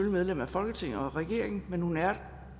medlem af folketinget og regeringen men hun er